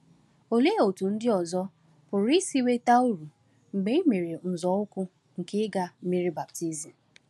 Olee otú ndị ọzọ pụrụ isi nweta uru mgbe i mere nzọụkwụ nke ịga mmiri baptizim?